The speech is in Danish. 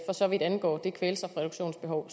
så vidt angår det kvælstofreduktionsbehov